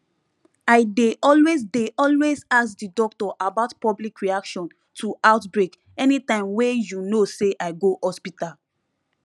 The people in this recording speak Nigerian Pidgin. i dey always dey always ask the doctor about public reaction to outbreak anytym wey you know say i go hospital